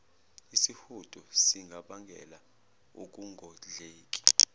isihudo singabangela ukungondleki